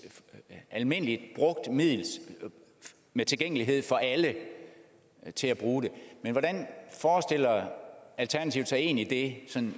almindeligt brugt middel med tilgængelighed for alle til at bruge det men hvordan forestiller alternativet sig egentlig det